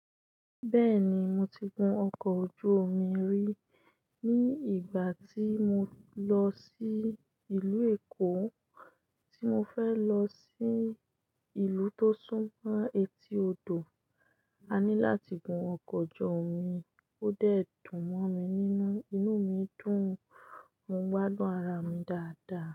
Bẹ́ẹ̀ni, mo ti gun ọkọ̀ ojú omi rí ní ìgbà tí mo lọ sí ìlú Èkó, tí mo fẹ́ lọ sí ìlú tó súnmọ́ etí odò, a ní láti gun ọkọ̀ ojú omi, ó dẹ̀ dùn mọ́ mi nínú, inú mi dùn, mo ń gbádùn ara mi dáadáa.